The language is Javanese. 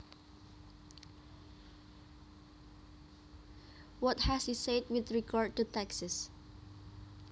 What has he said with regard to taxes